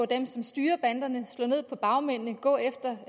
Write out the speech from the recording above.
dem som styrer banderne slå ned på bagmændene gå efter